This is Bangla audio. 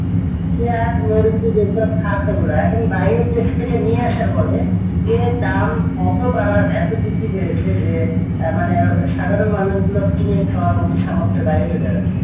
যেসব খাদ্য গুলা এখন বাইরে এখন বাইরের দেশ থেকে নিয়ে আসার ফলে এর দাম এতো বাড়া এতো বৃদ্ধি পেয়েছে যে সাধারন মানুষ গুলো কিনে খাওয়ার মতো সামর্থের বাইরে চলে গেছে,